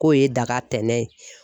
K'o ye daga tɛnɛ ye.